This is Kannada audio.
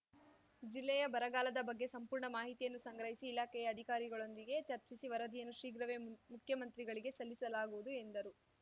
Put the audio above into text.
ಜಿಲ್ಲೆಯ ಬರಗಾಲದ ಬಗ್ಗೆ ಸಂಪೂರ್ಣ ಮಾಹಿತಿಯನ್ನು ಸಂಗ್ರಹಿಸಿ ಇಲಾಖೆಯ ಅಧಿಕಾರಿಗಳೊಂದಿಗೆ ಚರ್ಚಿಸಿ ವರದಿಯನ್ನು ಶೀಘ್ರವೇ ಮು ಮುಖ್ಯಮಂತ್ರಿಗಳಿಗೆ ಸಲ್ಲಿಸಲಾಗುವುದು ಎಂದರು